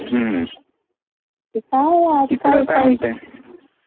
हं तिकडे काय म्हणते.